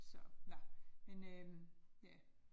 Så nåh, men øh ja